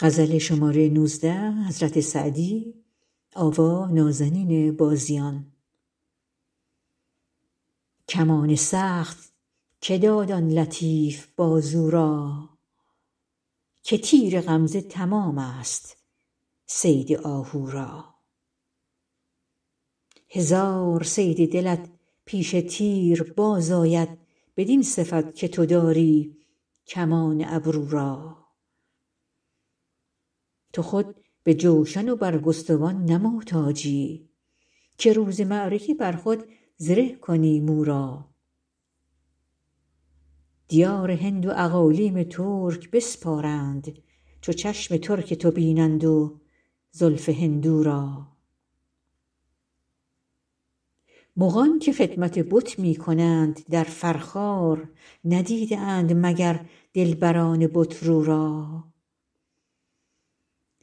کمان سخت که داد آن لطیف بازو را که تیر غمزه تمام ست صید آهو را هزار صید دلت پیش تیر باز آید بدین صفت که تو داری کمان ابرو را تو خود به جوشن و برگستوان نه محتاجی که روز معرکه بر خود زره کنی مو را دیار هند و اقالیم ترک بسپارند چو چشم ترک تو بینند و زلف هندو را مغان که خدمت بت می کنند در فرخار ندیده اند مگر دلبران بت رو را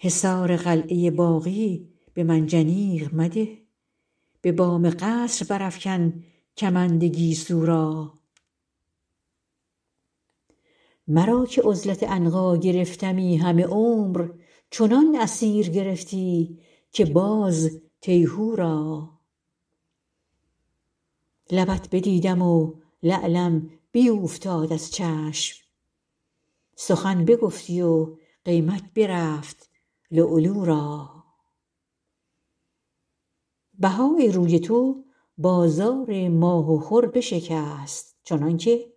حصار قلعه باغی به منجنیق مده به بام قصر برافکن کمند گیسو را مرا که عزلت عنقا گرفتمی همه عمر چنان اسیر گرفتی که باز تیهو را لبت بدیدم و لعلم بیوفتاد از چشم سخن بگفتی و قیمت برفت لؤلؤ را بهای روی تو بازار ماه و خور بشکست چنان که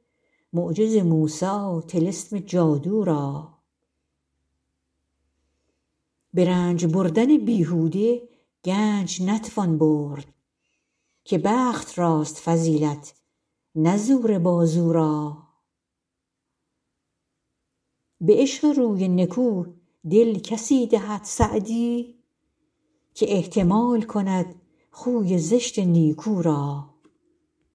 معجز موسی طلسم جادو را به رنج بردن بیهوده گنج نتوان برد که بخت راست فضیلت نه زور بازو را به عشق روی نکو دل کسی دهد سعدی که احتمال کند خوی زشت نیکو را